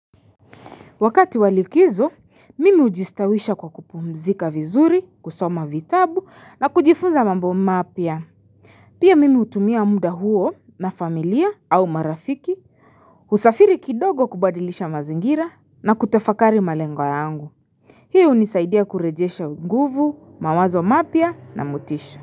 Wakati wa likizo, mimi ujistawisha kwa kupumzika vizuri, kusoma vitabu na kujifunza mambo mapya. Pia mimi utumia muda huo na familia au marafiki, usafiri kidogo kubadilisha mazingira na kutafakari malengwa yangu. Hii unisaidia kurejesha nguvu, mawazo mapya na motisha.